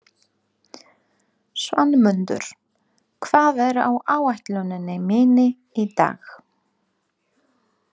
Svanmundur, hvað er á áætluninni minni í dag?